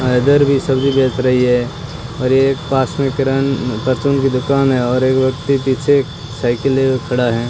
इधर भी सब्जी बेच रही है और एक पास मे किरन परचून की दुकान है और एक व्यक्ति पीछे साइकिल लिए खड़ा है।